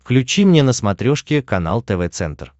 включи мне на смотрешке канал тв центр